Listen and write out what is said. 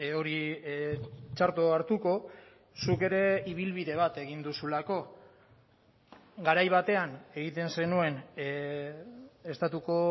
hori txarto hartuko zuk ere ibilbide bat egin duzulako garai batean egiten zenuen estatuko